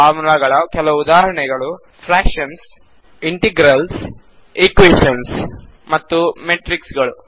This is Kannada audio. ಫಾರ್ಮುಲಾಗಳ ಕೆಲವು ಉದಾಹರಣೆಗಳು ಫ್ರ್ಯಾಕ್ಶನ್ ಗಳು ಇಂಟಿಜರ್ ಗಳು ಸಮೀಕರಣಗಳು ಮತ್ತು ಮೆಟ್ರಿಕ್ಸ್ ಗಳು